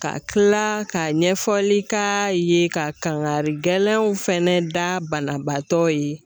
Ka kila ka ɲɛfɔli k'a ye ka kangari gɛlɛyaw fɛnɛ da banabaatɔ ye